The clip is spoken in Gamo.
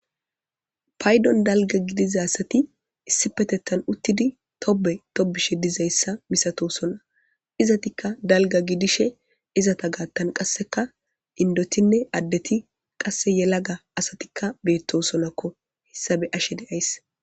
paydon dalga gidiza asati issipetettan uttidi tobe tobishe dizayssa misatosona izatikka dalga gidishe izata gaattan qasseka indotinne addeti qasse yelaga asatikka beettosonakko hissa be7ashe de7ays